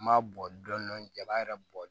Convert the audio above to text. N m'a bɔ dɔn dɔni jaa yɛrɛ bɔ